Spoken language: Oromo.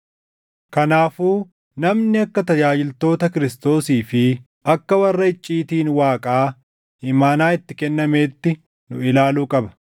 Kanaafuu namni akka tajaajiltoota Kiristoosii fi akka warra icciitiin Waaqaa imaanaa itti kennameetti nu ilaaluu qaba.